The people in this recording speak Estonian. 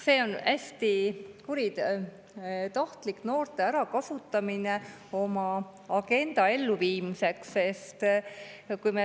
See on hästi kuritahtlik noorte ärakasutamine oma agenda elluviimiseks.